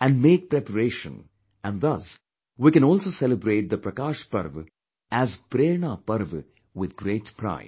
and make preparations and thus we can also celebrate the Prakash parv as Prerna Parv with great pride